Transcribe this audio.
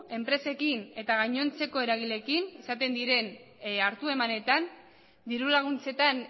enpresekin eta gainontzeko eragileekin izaten diren hartu emanetan diru laguntzetan